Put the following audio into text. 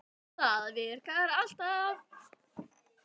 Það virkar alltaf.